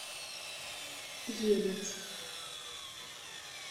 елец